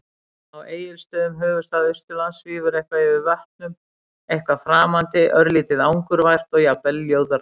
Á Egilsstöðum, höfuðstað Austurlands, svífur eitthvað yfir vötnum- eitthvað framandi, örlítið angurvært og jafnvel ljóðrænt.